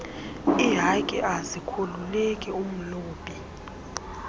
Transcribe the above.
ihaki azikhululeki umlobi